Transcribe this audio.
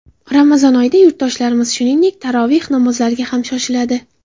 Ramazon oyida yurtdoshlarimiz, shuningdek, taroveh namozlariga ham shoshiladi.